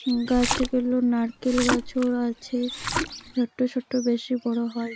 গাছ গুলো নারকেল গাছও আছে ছোট্ট ছোট্ট বেশি বড়ো হয় নি ।